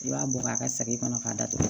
I b'a bɔ a ka sagin kɔnɔ k'a datugu